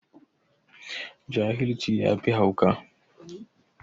Jahilci yafi hauka.